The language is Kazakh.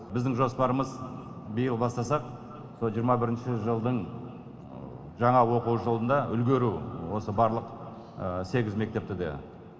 біздің жоспарымыз биыл бастасақ сол жиырма бірінші жылдың жаңа оқу жылында үлгеру осы барлық сегіз мектепті де